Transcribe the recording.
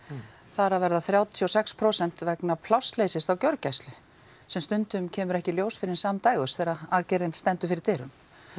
þar af eru þrjátíu og sex prósent vegna plássleysis á gjörgæslu sem stundum kemur ekki í ljós fyrr en samdægurs þegar aðgerðin stendur fyrir dyrum